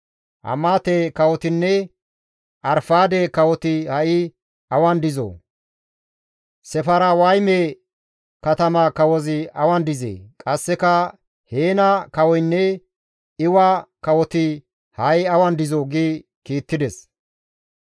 Hamaate kawotinne Arfaade kawoti ha7i awan dizoo? Sefarwayme katama kawozi awan dizee? Qasseka Heena kawoynne Iwa kawoti ha7i awan dizoo?» gi kiittides.